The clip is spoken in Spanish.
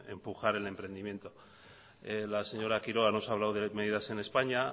empujar el emprendimiento la señora quiroga nos ha hablado de medidas en españa